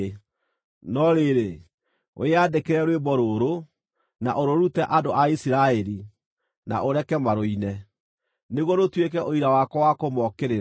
“No rĩrĩ, wĩyandĩkĩre rwĩmbo rũrũ, na ũrũrute andũ a Isiraeli, na ũreke marũine, nĩguo rũtuĩke ũira wakwa wa kũmookĩrĩra.